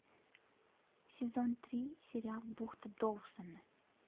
сезон три сериал бухта доусона